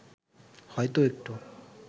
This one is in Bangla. হয়তো একটু